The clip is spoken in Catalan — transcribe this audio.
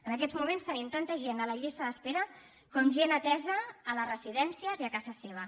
en aquests moments tenim tanta gent a la llista d’espera com gent atesa a les residències i a casa seva